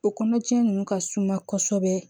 O kɔnɔja ninnu ka suma kosɛbɛ